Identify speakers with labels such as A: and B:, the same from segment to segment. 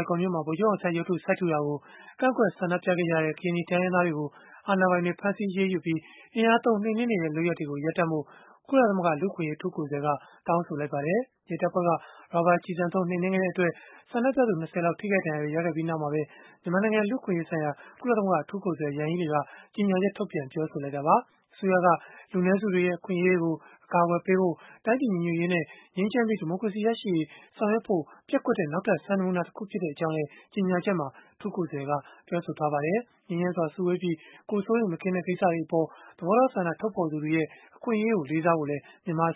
A: င်ကော်မြို့မှာ ဗိုလ်ချုပ်အောင်ဆန်းရုပ်ထု စိုက်ထူတာကို ကန့်ကွက်ဆန္ဒပြခဲ့ကြတဲ့ ကရင်နီတိုင်းရင်းသားတွေကို အာဏာပိုင်တွေက ဖမ်းဆီးအရေးယူပြီး၊ အင်အားသုံး နှိမ်နင်းနေတဲ့ လုပ်ရပ်တွေကိုရပ်ဖို့ ကုလသမဂ္ဂ လူ့အခွင့်အရေး အထူးကိုယ်စားလှယ်က တောင်းဆိုလိုက်ပါတယ်။ ရဲတပ်ဖွဲ့က ရာဘာကျည်ဆံသုံး နှိမ်နင်းခဲ့တဲ့အတွက် ဆန္ဒပြသူ ၂၀ လောက် ထိခိုက်ဒဏ်ရာတွေ ရခဲ့ပြီးနောက်မှာပဲ မြန်မာနိုင်ငံ လူ့အခွင့်အရေးဆိုင်ရာ ကုလသမဂ္ဂ အထူးကိုယ်စားလှယ် Yanghee Lee က ကြေညာချက်ထုတ်ပြန် ပြောဆိုလိုက်တာပါ။ အစိုးရက လူနည်းစုတွေရဲ့ အခွင့်အရေးတွေကို အကာအကွယ်ပေးဖို့၊ တိုင်းပြည်ကိုညီညွတ်ဖို့ ငြိမ်းချမ်းပြီး ဒီမိုကရေစီရရှိရေး ဆောင်ရွက်ဖို့ ပျက်ကွက်တဲ့ နောက်ထပ်စံနမူနာ တခုဖြစ်ကြောင်းလည်း ကြေညာချက်မှာ အထူးကိုယ်စားလှယ်က ပြောဆိုထားပါတယ်။ မြန်မာအစိုးရ အနေနဲ့ ငြိမ်းချမ်းစွာစုဝေးပြီး၊ ကိုယ်စိုးရိမ်မကင်းတဲ့ ကိစ္စတွေအပေါ် သဘောထားဆန္ဒ ထုတ်ဖော်သူတွေရဲ့ အခွင့်အရေးကို လေးစားဖို့လည်း တို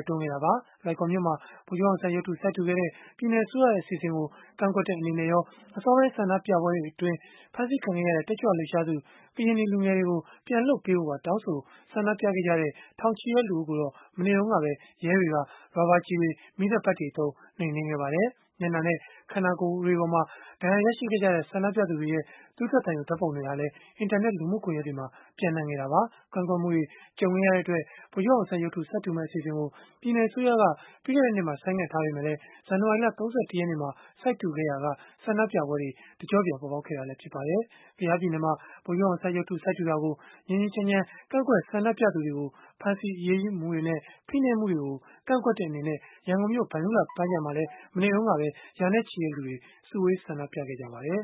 A: က်တွန်းခဲ့တာပါ။ လွိုင်ကော်မြို့မှာ ဗိုလ်ချုပ်အောင်ဆန်းရုပ်တု စိုက်ထူခဲ့တဲ့ ပြည်နယ်အစိုးရရဲ့ အစီအစဉ်ကို ကန့်ကွက်တဲ့ အနေနဲ့ရော အစောပိုင်း ဆန္ဒပြပွဲတွေအတွင်း ဖမ်းဆီးခံခဲ့ရတဲ့ တက်ကြွလှုပ်ရှားသူ ကရင်နီလူငယ်တွေကို ပြန်လွှတ်ပေးဖို့ပါ တောင်းဆို ဆန္ဒပြခဲ့ကြတဲ့ ထောင်ချီတဲ့ လူအုပ်ကိုတော့ မနေ့တုန်းက ရဲတွေက ရာဘာကျည်တွေ၊ မီးသတ်ပိုက်တွေသုံး နှိမ်နင်းခဲ့ပါတယ်။ မျက်နှာနဲ့ ခန္ဓာကိုယ်မှာ ဒဏ်ရာရရှိခဲ့ကြတဲ့ ဆန္ဒပြသူတွေရဲ့ သွေးထွက်သံယို ဓာတ်ပုံတွေဟာလည်း အင်တာနက် လူမှုကွန်ရက်တွေမှာ ပျံ့နှံ့ခဲ့တာပါ။ ကန့်ကွက်မှုတွေ ကြုံခဲ့ရတဲ့အတွက် ဗိုလ်ချုပ်အောင်ဆန်းရုပ်တု စိုက်ထူမယ့် အစီအစဉ်ကို ပြည်နယ်အစိုးရက ပြီးခဲ့တဲ့နှစ်မှာ ဆိုင်းငံ့ထားခဲ့ပေမဲ့ ဇန်နဝါရီလ ၃၁ ရက်နေ့မှာ စိုက်ထူခဲ့ရာက ဆန္ဒပြပွဲတွေ တကျော့ပြန် ပေါ်ပေါက်လာခဲ့တာလည်း ဖြစ်ပါတယ်။ ကယားပြည်နယ်မှာ ဗိုလ်ချုပ်အောင်ဆန်းရုပ်တု စိုက်ထူတာကို ငြိမ်းငြိမ်းချမ်းချမ်း ကန့်ကွက်ဆန္ဒပြသူတွေကို ဖမ်းဆီးအရေးယူမှုတွေနဲ့ ဖိနှိပ်မှုတွေကို ကန့်ကွက်တဲ့အနေနဲ့ ရန်ကုန်မြို့ ဗန္ဓုလပန်းခြံမှာမှာလည်း မနေ့တုန်းက ရာနဲ့ချီတဲ့လူတွေ စုဝေးဆန္ဒပြခဲ့ကြပါတယ်